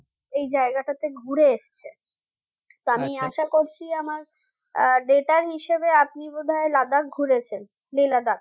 এই জায়গাটাতে ঘুরে এসেছে তা আমি আশা করছি আমার আহ data হিসাবে আপনি বোধয় Ladakh ঘুরেছেন Lehladakh